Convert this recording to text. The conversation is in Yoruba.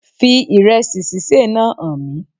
Fi ìrẹẹsì sísè náà hàn mí